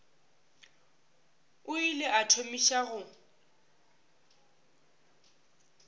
o ile a thomiša go